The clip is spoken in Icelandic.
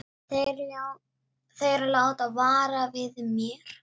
Þeir láta vara við mér.